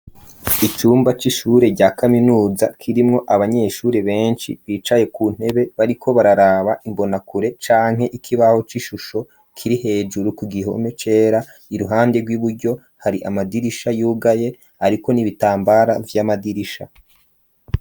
Icumba c'ishure rya kaminuza, kirimwo abanyeshuri benshi bicaye ku ntebe ,bariko bararaba imbonakure ,canke ikibaho c'ishusho kiri hejuru ku gihome cera, iruhande rw'iburyo hari amadirisha yugaye ariko n'ibitambara vy'amadirisha.